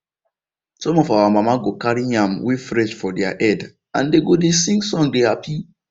some of our mama go carry yam wey fresh for their head and dem go dey sing song dey happy